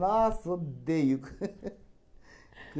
Nossa, odeio.